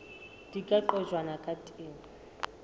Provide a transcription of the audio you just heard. di ka qojwang ka teng